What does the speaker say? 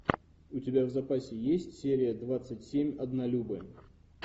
у тебя в запасе есть серия двадцать семь однолюбы